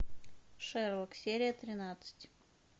шерлок серия тринадцать